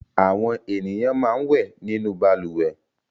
Àwọn ènìyàn máa ń wẹ̀ nínú balùwẹ̀.